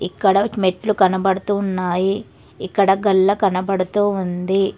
ఇక్కడ మెట్లు కనబడుతున్నాయి ఇక్కడ కళ్ళ కనపడుతుంది.